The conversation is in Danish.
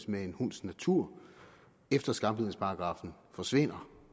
med en hunds natur efter skambidsparagraffen forsvinder